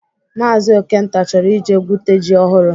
Maazi Okenta chọrọ ije gwute ji ọhụrụ